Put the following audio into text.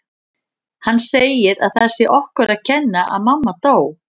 Hann segir að það sé okkur að kenna að mamma dó